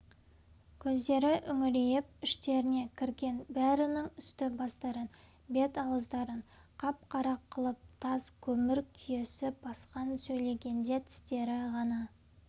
көздері үңірейіп іштеріне кірген бәрінің үсті-бастарын бет-ауыздарын қап-қара қылып тас көмір күйесі басқан сөйлегенде тістері ғана